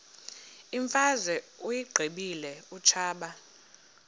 imfazwe uyiqibile utshaba